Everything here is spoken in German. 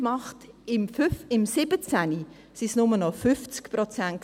2017 waren es nur noch 50 Prozent.